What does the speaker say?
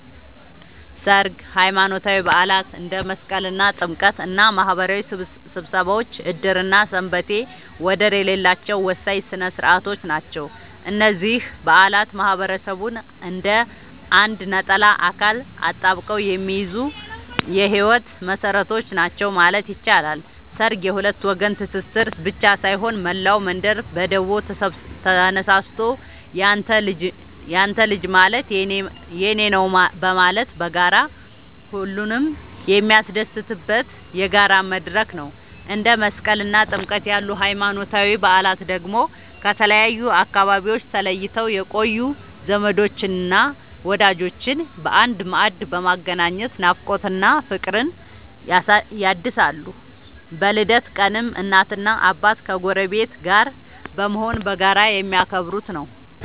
ሠርግ፣ ሃይማኖታዊ በዓላት እንደ መስቀልና ጥምቀት እና ማህበራዊ ስብሰባዎች ዕድርና ሰንበቴ ወደር የሌላቸው ወሳኝ ሥነ ሥርዓቶች ናቸው። እነዚህ በዓላት ማህበረሰቡን እንደ አንድ ነጠላ አካል አጣብቀው የሚይዙ የህይወት መሰረቶች ናቸው ማለት ይቻላል። ሠርግ የሁለት ወገን ትስስር ብቻ ሳይሆን፣ መላው መንደር በደቦ ተነሳስቶ ያንተ ልጅ ማለት የኔ ነዉ በማለት በጋራ ሁሉንም የሚያስደስትበት የጋራ መድረክ ነው። እንደ መስቀልና ጥምቀት ያሉ ሃይማኖታዊ በዓላት ደግሞ ከተለያዩ አካባቢዎች ተለይተው የቆዩ ዘመዶችንና ወዳጆችን በአንድ ማዕድ በማገናኘት ናፍቆትን እና ፍቅርን ያድሳሉ። በልደት ቀንም እናትና አባት ከጎረቤት ጋር በመሆን በጋራ የሚያከብሩት ነዉ።